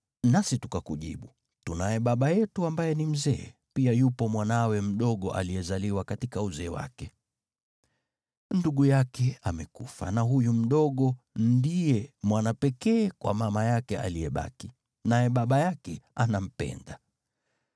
Nasi tukakujibu, ‘Tunaye baba yetu ambaye ni mzee; pia yupo mwanawe mdogo aliyezaliwa katika uzee wake. Ndugu yake amekufa, na huyu mdogo ndiye mwana pekee kwa mama yake aliyebaki, naye baba yake anampenda.’